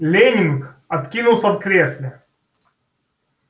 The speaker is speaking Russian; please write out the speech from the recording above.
лэннинг откинулся в кресле